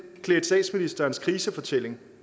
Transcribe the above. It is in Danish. klædte statsministerens krisefortælling